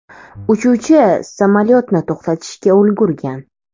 Uchuvchi samolyotni to‘xtatishga ulgurgan.